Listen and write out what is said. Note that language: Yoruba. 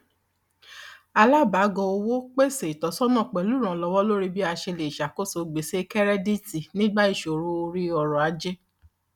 alábàgọ owó pèsè ìtọsọnà pẹlúrànlọwọ lórí bí a ṣe le ṣàkóso gbèsè kẹrẹdíìtì nígbà ìṣòro orí ọrọ ajé